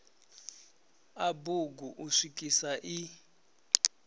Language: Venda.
a bugu u swika i